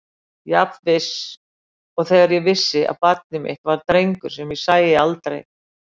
Jafn viss og þegar ég vissi að barnið mitt var drengur sem ég sæi aldrei.